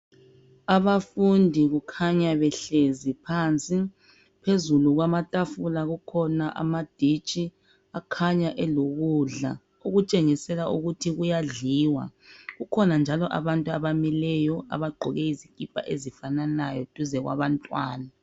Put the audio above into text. Abafundi kukhanya behlezi phansi. Phezulu kwamatafula kukhona amaditshi akhanya elokudla ukutshengisela ukuthi kuyadliwa. Kukhona njalo abantu abamileyo abagqoke izikipa ezifananayo duze kwabantwana.